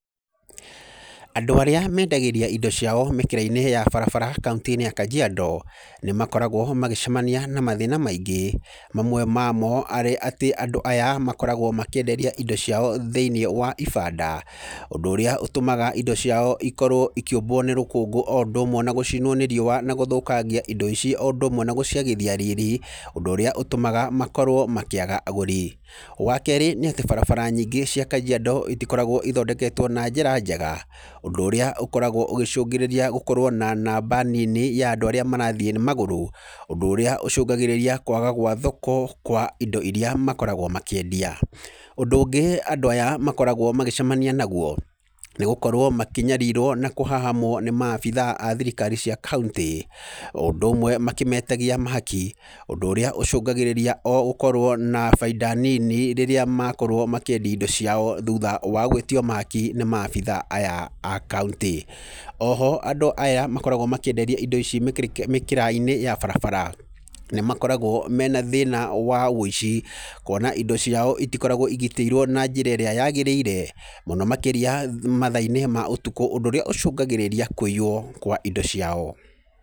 Andũ arĩa mendagĩria indo ciao mĩkĩra-inĩ ya barabara kaũntĩ-inĩ ya kajiado, nĩ makoragwo magĩcemania na mathĩna maingĩ, mamwe mamo marĩ atĩ andũ aya makoragwo makĩenderia indo ciao thĩiniĩ wa ibanda. Ũndũ ũrĩa ũtũmaga indo ciao ikorwo ikĩũmbwo nĩ rũkũngũ ũndũ ũmwe na gũcinwo nĩ riũa na gũthũkangia indo ici o ũndũ ũmwe na gũciagithia riri, ũndũ urĩa ũtũmaga makorwo makĩaga agũri. Wa keerĩ nĩ atĩ barabara nyingĩ cia Kajiado citikoragwo ithondeketwo na njĩra njega, ũndũ ũrĩa ukoragwo ũgicũngirĩria gũkorwo na namba nini ya andũ arĩa marathiĩ na magũrũ, ũndũ ũrĩa ũcũngagirĩria kũaga gwa thoko kwa indo iria makoragwo makĩendia. Ũndũ ũngĩ, andũ aya makoragwo magĩcemania naguo, nĩ gukorwo makĩnyariirwo na kũhahamwo nĩ ma-abithaa a thirikari cia kauntĩ, o ũndũ ũmwe makĩmetagia mahaki, ũndũ ũrĩa ũcũngagĩrĩria o gũkorwo na baita nini makĩendia indo ciao rĩrĩa makorwo magĩtio mahaki nĩ ma-abithaa aya a Kauntĩ. O ho andũ aya makoragwo makĩenderia indo ici mĩkĩrĩ kĩ, mĩkĩra-inĩ ya barabara, nĩ makoragwo mena thĩna wa ũĩci, kuona indo ciao itikoragwo igitĩirwo na njĩra ĩrĩa yagĩrĩire. Mũno makĩria mathaa-inĩ ma ũtũkũ, ũndũ ũrĩa ũcũngagĩrĩria kũiywo kwa indo ciao.